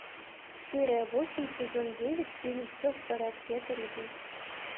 серия восемь сезон девять фильм все в порядке это любовь